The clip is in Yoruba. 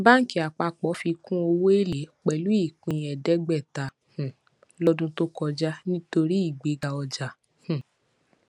banki apapo fikùn owó elé pẹlú ìpín eedegbeta um lọdún tó kọjá nítorí ìgbéga ọjà um